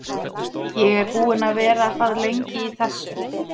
Ég er búinn að vera það lengi í þessu.